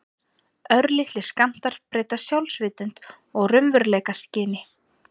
Örlitlir skammtar breyta sjálfsvitund og raunveruleikaskyni.